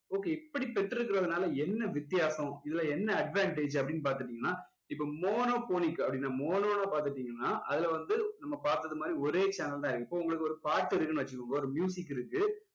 okay இப்படி பெற்றிருக்கிறதுனால என்ன வித்தியாசம் இதுல என்ன advantage அப்படின்னு பாத்துகிட்டீங்கன்னா இப்போ monophonic அப்படின்னா mono னா பாத்துகிட்டீங்கன்னா அதுல வந்து நம்ம பாத்தது மாதிரி ஒரே channel தான் இருக்கும் உங்களுக்கு ஒரு பாட்டு இருக்குன்னு வச்சுக்கோங்க ஒரு இருக்கு